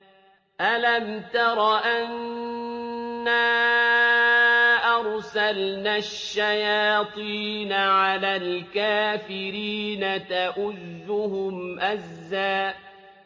أَلَمْ تَرَ أَنَّا أَرْسَلْنَا الشَّيَاطِينَ عَلَى الْكَافِرِينَ تَؤُزُّهُمْ أَزًّا